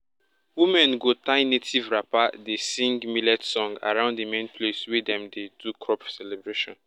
women go tie native wrapper dey sing millet song around the main place wey dem dey do crop celebration.